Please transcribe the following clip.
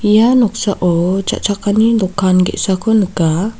ia noksao cha·chakani dokan ge·sako nika.